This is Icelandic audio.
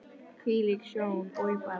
Hvílík sjón, oj bara!